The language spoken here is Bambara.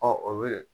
o bɛ